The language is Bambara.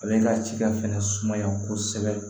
A bɛ ka cikɛ fɛnɛ sumaya kosɛbɛ